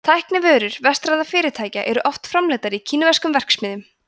tæknivörur vestrænna fyrirtækja eru oft framleiddar í kínverskum verksmiðjum